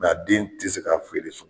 a den te se ka feere so